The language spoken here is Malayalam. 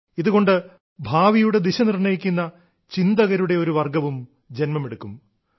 ഇതുകൊണ്ട് ഭാവിയുടെ ദിശ നിർണ്ണയിക്കുന്ന ചിന്തകരുടെ ഒരു വർഗ്ഗവും ജ•മെടുക്കും